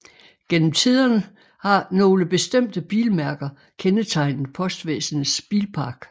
Gennem tiden har nogle bestemte bilmærker kendetegnet postvæsenets bilpark